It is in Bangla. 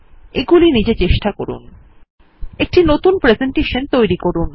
এগুলি নিজে চেষ্টা করুন একটি নতুন প্রেসেন্টেশন তৈরী করুন